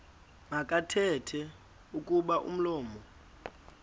makathethe kuba umlomo